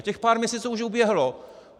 A těch pár měsíců už uběhlo.